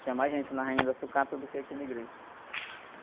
Tinha mais gente na Rainha da Sucata do que aqui na igreja.